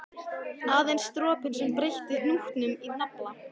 Aðeins dropinn sem breytti hnútnum í nafla.